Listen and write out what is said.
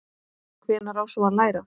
Hvenær á svo að læra?